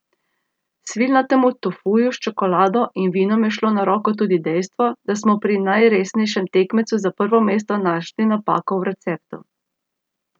Svilnatemu tofuju s čokolado in vinom je šlo na roko tudi dejstvo, da smo pri najresnejšem tekmecu za prvo mesto našli napako v receptu.